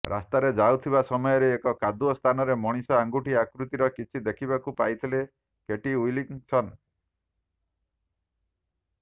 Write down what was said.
ରାସ୍ତାରେ ଯାଉଥିବା ସମୟରେ ଏକ କାଦୁଆ ସ୍ଥାନରେ ମଣିଷ ଆଙ୍ଗଠି ଆକୃତିର କିଛି ଦେଖିବାକୁ ପାଇଥିଲେ କେଟି ୱିଲକିନ୍ସନ୍